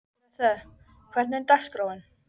Grethe, hvernig er dagskráin?